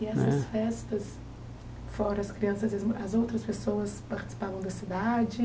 Eh e essas festas, fora as crianças, e as as outras pessoas participavam da cidade?